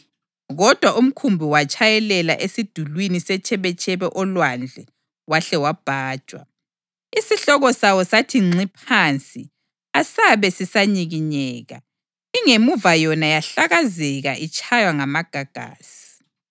Kodwa umkhumbi watshayelela esidulini setshebetshebe olwandle wahle wabhajwa. Isihloko sawo sathi ngxi phansi asabe sisanyikinyeka, ingemuva yona yahlakazeka itshaywa ngamagagasi.